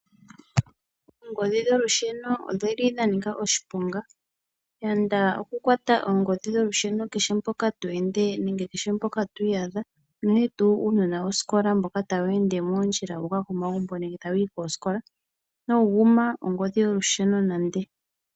Oongodhi dholusheno odhili dha nika oshiponga. Yanda okukwata oongodhi dholusheno kehe mpoka to ende nenge kehe mpoka to iyadha. Unene tuu uunona wosikola mboka tawu ende moondjila wu uka komagumbo nenge tawu yi koosikola inawu guma oongodhi dholusheno nande.